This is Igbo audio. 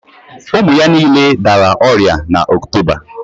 Ụmụ ya niile dara ọrịa n'Oktoba